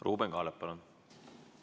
Ruuben Kaalep, palun!